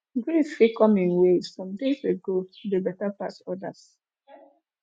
grief fit come in waves better pass odas